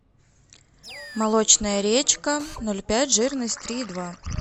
молочная речка ноль пять жирность три и два